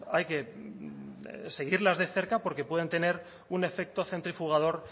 hay que seguirlas de cerca porque pueden tener un efecto centrifugador